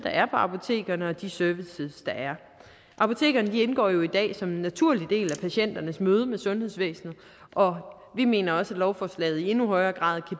er på apotekerne og de services der er apotekerne indgår jo i dag som en naturlig del af patienternes møde med sundhedsvæsenet og vi mener også at lovforslaget i endnu højere grad